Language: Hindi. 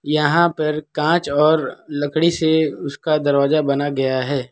यहां पर कांच और लकड़ी से उसका दरवाजा बना गया है।